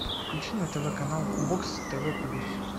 включи на тв канал бокс тв плюс